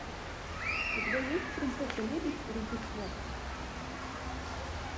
у тебя есть принцесса лебедь рождество